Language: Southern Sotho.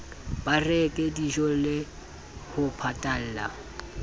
ba reke dijole ho patalla